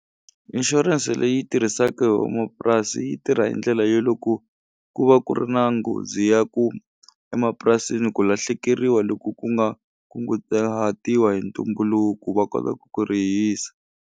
Inshurense leyi tirhisaku hi vamapurasi yi tirha hi ndlela yo loko ku va ku ri na nghozi ya ku emapurasini ku lahlekeriwa loko ku nga kungutahatiwa hi ntumbuluku va kota ku ku rihisa.